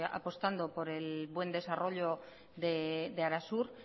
apostando por el buen desarrollo de arasur